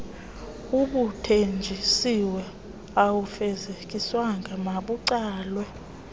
obuthenjisiwe awufezekiswanga makucelwe